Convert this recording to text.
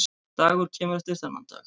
Dagur kemur eftir þennan dag.